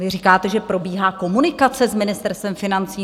Vy říkáte, že probíhá komunikace s Ministerstvem financí.